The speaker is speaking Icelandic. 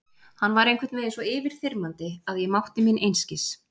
Hann var einhvern veginn svo yfirþyrmandi að ég mátti mín einskis.